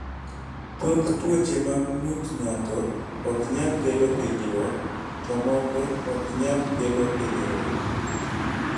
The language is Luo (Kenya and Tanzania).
Thoth tuoche mag ng�ut ng�ato ok nyal kelo hinyruok, to moko ok nyal kelo hinyruok.